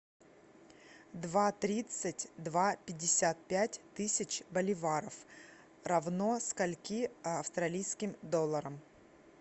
два тридцать два пятьдесят пять тысяч боливаров равно скольки австралийским долларам